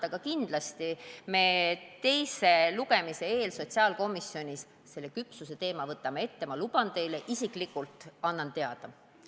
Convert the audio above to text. Aga kindlasti me teise lugemise eel sotsiaalkomisjonis selle küpsuseteema ette võtame, ma luban teile isiklikult ja annan teada.